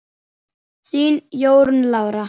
Þín Jórunn Lára.